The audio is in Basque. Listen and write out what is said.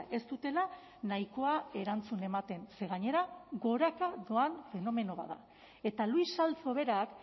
ez dutela nahikoa erantzun ematen ze gainera goraka doan fenomeno bat da eta luis salzo berak